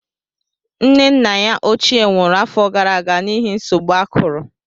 Nne na nna ya ochie nwụrụ afọ gara aga n'ihi nsogbu akuru